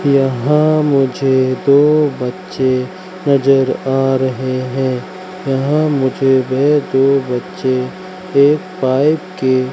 यहां मुझे दो बच्चे नजर आ रहे हैं यहां मुझे वे दो बच्चे एक पाइप के--